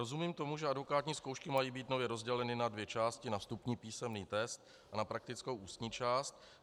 Rozumím tomu, že advokátní zkoušky mají být nově rozděleny na dvě části, na vstupní písemný test a na praktickou ústní část.